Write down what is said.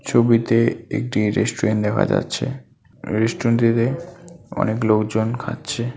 ছবিতে একটি রেস্টুরেন্ট দেখা যাচ্ছে রেস্টুরেন্ট -টিতে অনেক লোকজন খাচ্ছে।